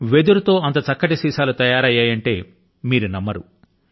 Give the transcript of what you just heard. వెదురు తో అంత చక్కటి సీసా లు తయారయ్యాయంటే మీరు నమ్మరు